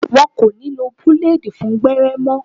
Wọn kò ní lo búlèèdì fún gbẹ́rẹ́ mọ́